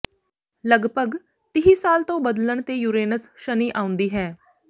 ਲਗਭਗ ਤੀਹ ਸਾਲ ਤੋਂ ਬਦਲਣ ਤੇ ਯੂਰੇਨਸ ਸ਼ਨੀ ਆਉਂਦੀ ਹੈ